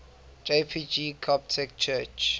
jpg coptic church